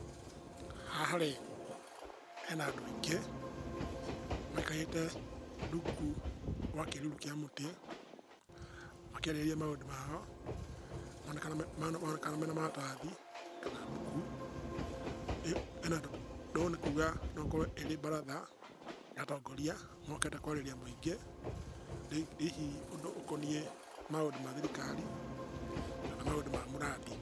Haha-rĩ, hena andũ aingĩ maikarĩte rungu rwa kĩruru kĩa mũtĩ makĩarĩrĩria maũndũ mao. Maronekana mena maratathi kana mbuku. Ũndũ ũyũ nĩkuga no ĩkorwo ĩrĩ mbaratha ya atongoria mokĩte kwarĩria mũingĩ hihi ũndũ ũkoniĩ maũndũ ma thirikari kana maũndũ ma mũrandi.